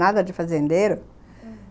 Nada de fazendeiro, aham.